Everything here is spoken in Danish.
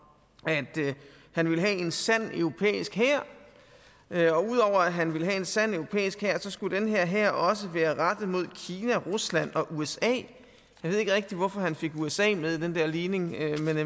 at han ville have en sand europæisk hær og udover at han ville have en sand europæisk hær skulle denne hær også være rettet mod kina rusland og usa jeg ved ikke rigtig hvorfor han fik usa med i den der ligning